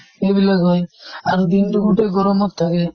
এইবিলাক হয়, আৰু দিন টো গোতেই গৰমত থাকে।